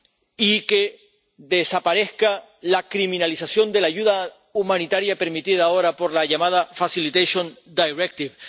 y que desaparezca la criminalización de la ayuda humanitaria, permitida ahora por la llamada Facilitation Directive